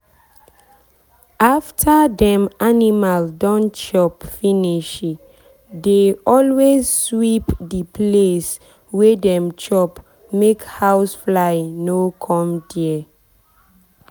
after dem animal don chop finishi dey always sweep the place wey dem chop make house fly no come there.